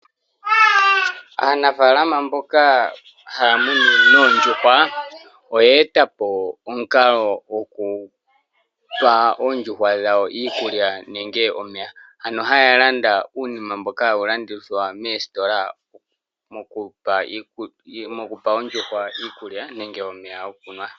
Aanafaalama mboka haya munu oondjuhwa oye etapo omukalo goku pa oondjuhwa dhawo iikulya nenge omeya. Ano haya landa uunima mboka hawu landwa moositola woku pa oondjuhwa iikulya nenge omeya.